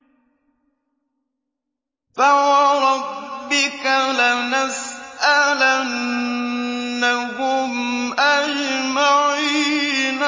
فَوَرَبِّكَ لَنَسْأَلَنَّهُمْ أَجْمَعِينَ